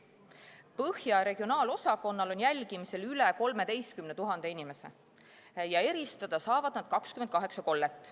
Põhja regionaalosakonnal on jälgimisel üle 13 000 inimese ja eristada saavad nad 28 kollet.